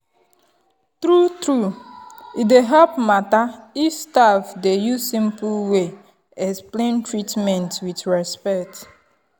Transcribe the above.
true-true e dey help matter if staff dey use simple way explain treatment with respect.